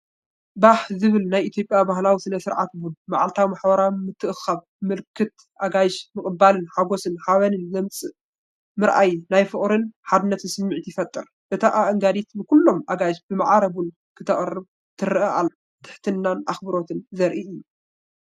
ባህ ዘብል ናይ ኢትዮጵያ ባህላዊ ስነ-ስርዓት ቡን መዓልታዊ ማሕበራዊ ምትእኽኻብን ምልክት ኣጋይሽ ምቕባልን ሓጎስን ሓበንን ዘምጽእ፣ ምርኣይ ናይ ፍቕርን ሓድነትን ስምዒት ይፈጥር። እታ ኣአንጋዲት ንኹሎም ኣጋይሽ ብማዕረ ቡን ከተቕርብ ትረአ ዘላ ትሕትናን ኣኽብሮትን ዘርኢ እዩ።